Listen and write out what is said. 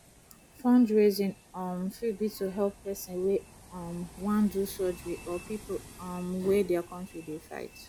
fundraising um fit be to help person wey um wan do surgery or pipo um wey their country dey fight